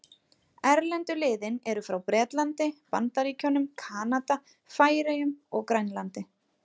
Erlendu liðin eru frá Bretlandi, Bandaríkjunum, Kanada, Færeyjum og Grænlandi.